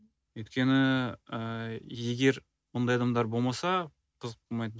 өйткені ііі егер ондай адамдар болмаса қызық болмайды